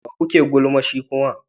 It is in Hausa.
Wa kuke yin gulman shi kuma?